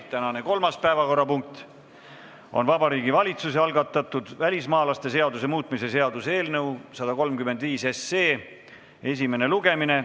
Tänane kolmas päevakorrapunkt on Vabariigi Valitsuse algatatud välismaalaste seaduse muutmise seaduse eelnõu 135 esimene lugemine.